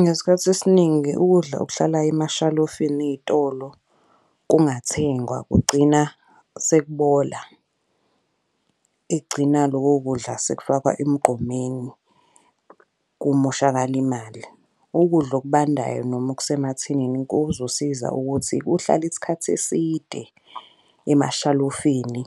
Ngesikhathi esiningi ukudla okuhlalayo emashalofini ey'tolo kungathengwa kugcina sekubola. Igcina loko kudla sekufakwa emgqomeni kumoshakale imali. Ukudla okubandayo noma okusemathinini kuzosiza ukuthi kuhlale isikhathi eside emashalofini.